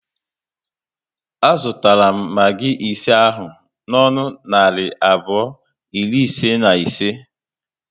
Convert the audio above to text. A zụtara m magi ise ahụ n'ọnụ narị abụọ iri ise na ise